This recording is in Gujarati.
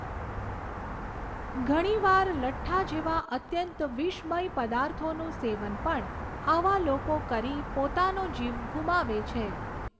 ઘણીવાર લઠ્ઠા જેવા અત્યંત વિષમય પદાર્થોનું સેવન પણ આવા લોકો કરી પોતાનો જીવ ગુમાવે છે.